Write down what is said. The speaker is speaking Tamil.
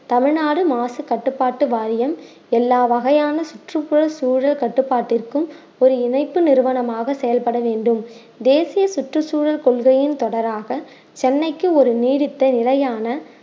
தமிழ்நாடு மாசு கட்டுப்பாட்டு வாரியம் எல்லா வகையான சுற்றுப்புற சூழல் கட்டுப்பாட்டிற்கும் ஒரு இணைப்பு நிறுவனமாக செயல்பட வேண்டும் தேசிய சுற்றுச்சூழல் கொள்கையின் தொடராக சென்னைக்கு ஒரு நீடித்த நிலையான